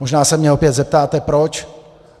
Možná se mě opět zeptáte proč.